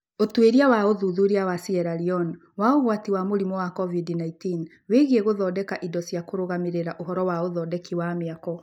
Ũtuĩria wa ũthuthuria wa Sierra Leone wa ũgwati wa mũrimũ wa COVID-19 wĩgiĩ gũthondeka indo cia kũrũgamĩrĩra ũhoro wa ũthondeki wa mĩako.